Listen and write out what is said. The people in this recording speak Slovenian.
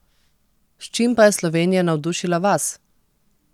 S čim pa je Slovenija navdušila vas?